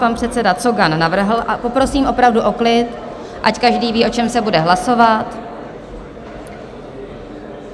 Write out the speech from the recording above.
Pan předseda Cogan navrhl - a poprosím opravdu o klid, ať každý ví, o čem se bude hlasovat.